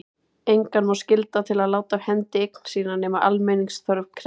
Engan má skylda til að láta af hendi eign sína nema almenningsþörf krefji.